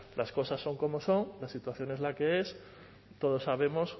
las cosas son como son la situación es la que es todos sabemos